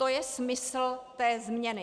To je smysl té změny.